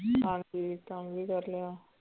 ਹਨਜੀ ਕੰਮ ਵੀ ਕਰਲਿਆ